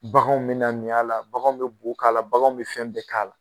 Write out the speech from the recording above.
Baganw be na min a la, baganw be bo k'a la baganw be fɛn bɛɛ k'a la